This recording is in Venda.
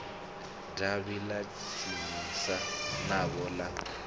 davhi ḽa tsinisa navho ḽa